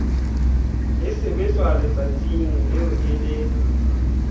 e sebetswa letsatsing leo e